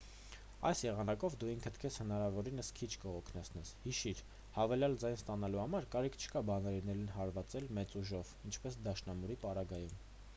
այս եղանակով դու ինքդ քեզ հնարավորինս քիչ կհոգնեցնես հիշիր հավելյալ ձայն ստանալու համար կարիք չկա բանալիներին հարվածել մեծ ուժով ինչպես դաշնամուրի պարագայում